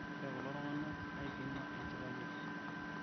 ore kulo tunganak naipima enchipai ai